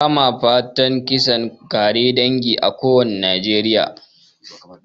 Ba ma fatan kisan ƙare dangi a kowane yankin najeriya